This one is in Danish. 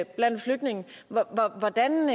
blandt flygtninge hvordan